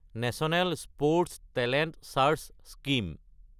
national sports talent search scheme